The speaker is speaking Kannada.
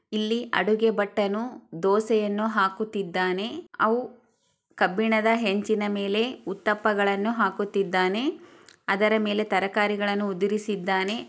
ಇಲ್ಲಿ ಅಡುಗೆ ಭಟ್ಟನು ದೋಸೆಯನು ಹಾಕುತ್ತಿದ್ದಾನೆ. ಅವೂ ಕಬ್ಬಿಣದ ಹಂಚಿನ ಮೇಲೆ ಉತ್ತಪ್ಪಗಳನು ಹಾಕುತ್ತಿದ್ದಾನೆ. ಅದರ ಮೇಲೆ ತರಕಾರಿಗಳನು ಓದುರಿಸಿದ್ದಾನೆ. ಅದರ ಮೇಲೆ ತರಕಾರಿಗಳನು ಓದುರಿಸಿದ್ದಾನೆ.